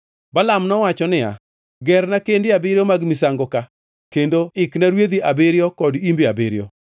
Balaam nowacho niya, “Gerna kende abiriyo mag misango ka, kendo ikna rwedhi abiriyo kod imbe abiriyo.”